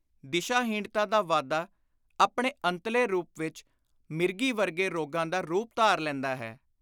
ਦਿਸ਼ਾ-ਹੀਣਤਾ ਦਾ ਵਾਧਾ ਆਪਣੇ ਅੰਤਲੇ ਰੂਪ ਵਿਚ ਮਿਰਗੀ ਵਰਗੇ ਰੋਗਾਂ ਦਾ ਰੁਪ ਧਾਰ ਲੈਂਦਾ ਹੈ